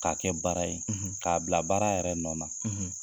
K'a kɛ baara ye, k'a bila baara yɛrɛ nɔ na.